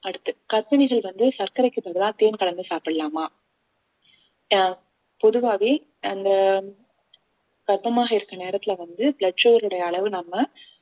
அடுத்து கர்ப்பிணிகள் வந்து சர்க்கரைக்கு பதிலா தேன் கலந்து சாப்பிடலாமா ஆஹ் பொதுவாவே அந்த கர்ப்பமாக இருக்கிற நேரத்துல வந்து blood sugar ருடைய அளவு நம்ம